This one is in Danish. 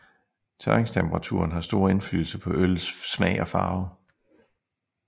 Tørringstemperaturen har stor indflydelse på øllets smag og farve